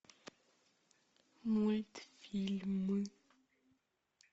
мультфильмы